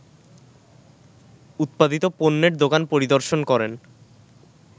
উৎপাদিত পণের দোকান পরিদর্শন করেন